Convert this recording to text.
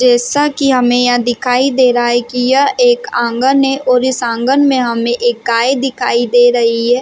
जैसा की हमे यहाँ दिखाई दे रहा है की यह एक आंगन हैऔर इस आंगन में हमे एक गाय दिखाई दे रही है।